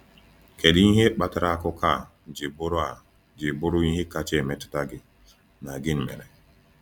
Kedu ihe kpatara akụkọ a ji bụrụ a ji bụrụ ihe kacha emetụta gị, na gịnị mere?